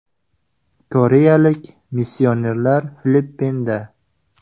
Koreyalik missionerlar Filippinda.